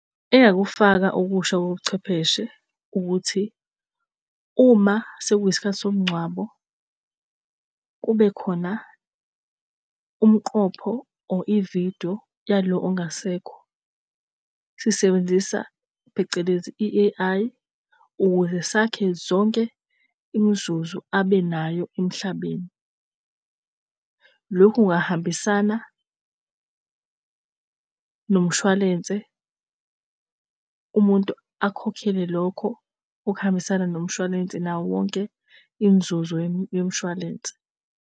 Engingakufaka okusha kobuchwepheshe, ukuthi uma sekuyisikhathi somngcwabo, kube khona umqopho or ividiyo yalo ongasekho, sisebenzisa phecelezi i-A_I ukuze sakhe zonke imizuzu abe nayo emhlabeni. Loku kungahambisana nomshwalense, umuntu akhokhele lokho okuhambisana nomshwalense nawo wonke imizuzu yomshwalense.